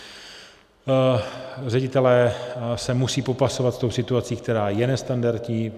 Ředitelé se musí popasovat s tou situací, která je nestandardní.